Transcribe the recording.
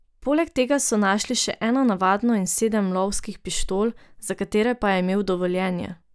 Poleg tega so našli še eno navadno in sedem lovskih pištol, za katere pa je imel dovoljenje.